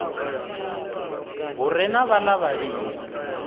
hu re na vhaḽa vhavhili